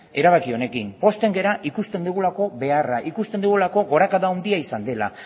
erabaki honekin pozten gara ikusten dugulako beharra ikusten dugulako gorakada handia izan dela